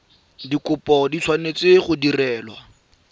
dikopo di tshwanetse go direlwa